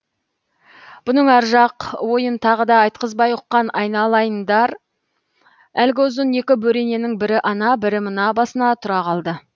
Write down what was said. бұның ар жақ ойын тағы да айтқызбай ұққан айналайындар әлгі ұзын екі бөрененің бірі ана бірі мына басына тұра қалды